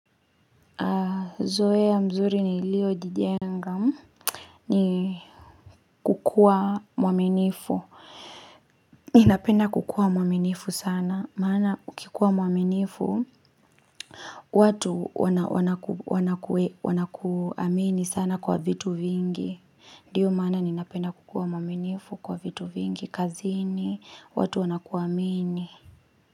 Aah zoea mzuri niliyojijenga nikukuwa mwaminifu ninapenda kukuwa mwaminifu sana maana ukikuwa mwaminifu watu wanakuamini sana kwa vitu vingi ndiyo maana ninapenda kukuwa mwaminifu kwa vitu vingi kazini watu wanakuamini.